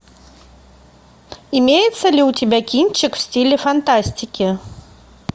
имеется ли у тебя кинчик в стиле фантастики